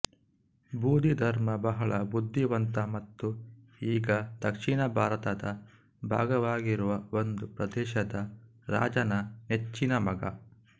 ಬೋಧಿಧರ್ಮ ಬಹಳ ಬುದ್ಧಿವಂತ ಮತ್ತು ಈಗ ದಕ್ಷಿಣ ಭಾರತದ ಭಾಗವಾಗಿರುವ ಒಂದು ಪ್ರದೇಶದ ರಾಜನ ನೆಚ್ಚಿನ ಮಗ